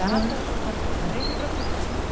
Data, local de nascimento e profissão.